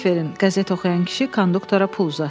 Qəzet oxuyan kişi konduktora pul uzatdı.